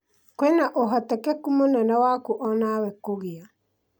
kwĩna ũhotekeku mũnene waku onawe kũũgĩa